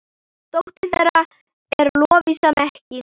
Dóttir þeirra er Lovísa Mekkín.